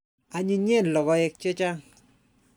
Anyinyen logoek che chang'.